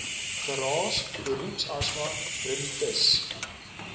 geraas beroepsasma rinitis